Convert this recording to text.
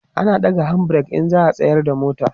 ana ɗaga hand break in za'a tsayar da mota